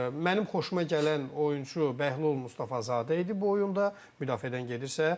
Mənim xoşuma gələn oyunçu Bəhlul Mustafazadə idi bu oyunda, müdafiədən gedirsə.